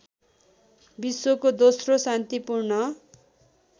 विश्वको दोस्रो शान्तिपूर्ण